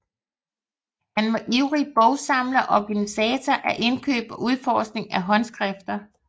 Han var ivrig bogsamler og organisator af indkøb og udforskning af håndskrifter